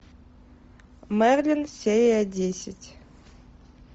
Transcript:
мерлин серия десять